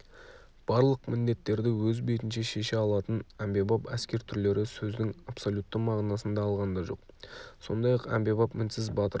барлық міндеттерді өз бетінше шеше алатын әмбебап әскер түрлері сөздің абсолютті мағынасында алғанда жоқ сондай-ақ әмбебап мінсіз батыр